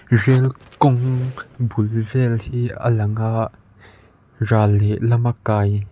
rel kawng bul vel hi a lang a ral leh lamah kai--